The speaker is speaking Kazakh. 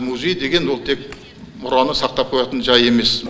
музей деген ол тек мұраны сақтап қоятын жай емес